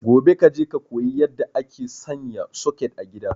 Gobe kaje ka koyi yadda ake sanya soket a gida